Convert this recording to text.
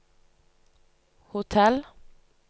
hotell